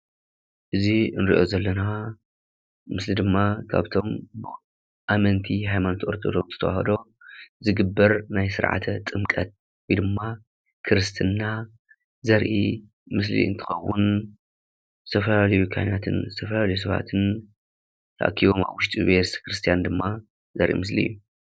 እዚ እንሪኦ ዘለና ምስሊ ድማ ካብቶም ኣመንቲ ሃይማኖት ኦርቶዶክስ ተዋህዶ ዝግበር ናይ ስርዓተ ጥምቀት ወይ ድማ ክርስትና ዘርኢ ምስሊ እንትኸውን ዝተፈላለዩ ካህናትን ዝተፈላለዩ ሰባትን ተኣኪቦም ኣብ ውሽጢ ቤተክርስትያን ድማ ዘርኢ ምስሊ እዩ።